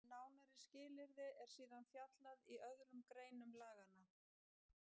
Um nánari skilyrði er síðan fjallað í öðrum greinum laganna.